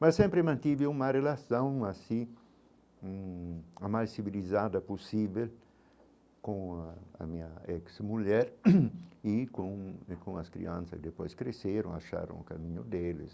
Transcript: Mas sempre mantive uma relação assim, hum a mais civilizada possível com a minha ex-mulher e com e com as crianças, e depois cresceram, acharam o caminho deles.